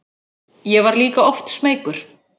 Ég var líka oft smeykur.